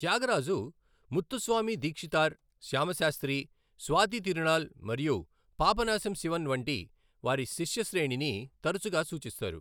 త్యాగరాజు, ముత్తుస్వామి దీక్షితార్, శ్యామ శాస్త్రి, స్వాతి తిరునాళ్ మరియు పాపనాశం శివన్ వంటి వారి శిష్య శ్రేణిని తరచుగా సూచిస్తారు.